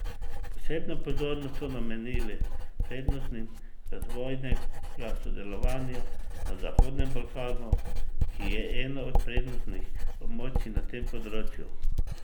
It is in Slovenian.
Posebno pozornost so namenili prednostim razvojnega sodelovanja na Zahodnem Balkanu, ki je eno od prednostnih območij na tem področju.